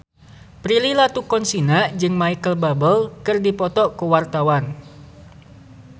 Prilly Latuconsina jeung Micheal Bubble keur dipoto ku wartawan